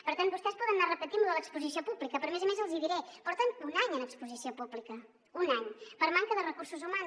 per tant vostès poden anar repetint lo de l’exposició pública però a més a més els hi diré porten un any en exposició pública un any per manca de recursos humans